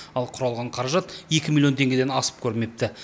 ал құралған қаражат екі миллион теңгеден асып көрмепті